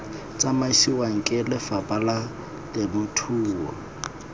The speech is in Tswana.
tsamisiwang ke lefapha la temothuo